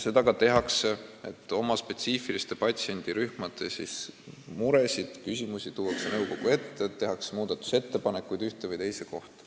Sellega tegeldakse, spetsiifiliste patsiendirühmade muresid ja küsimusi tuuakse nõukogu ette ning tehakse muudatusettepanekuid ühe või teise asja kohta.